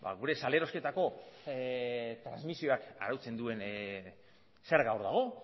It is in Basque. gure salerosketako transmisioak arautzen duen zerga hor dago